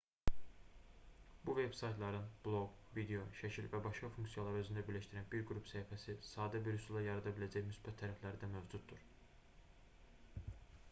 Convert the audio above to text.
bu veb-saytların bloq video şəkil və başqa funksiyaları özündə birləşdirən bir qrup səhifəsini sadə bir üsulla yarada biləcək müsbət tərəfləri də mövcuddur